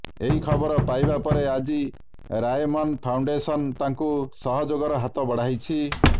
ଏହି ଖବର ପାଇବା ପରେ ଆଜି ରାଏମନ ଫାଉଣ୍ଡେସନ ତାଙ୍କୁ ସହଯୋଗର ହାତ ବଢାଇଛି